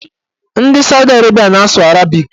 Ndị Saudi Arabịa na-asụ arabik